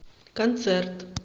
концерт